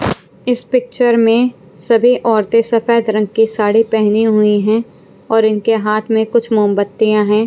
इस पिक्चर में सभी औरतें सफेद रंग की साड़ी पहनी हुई हैं और इनके हाथ में कुछ मोमबत्तियां हैं।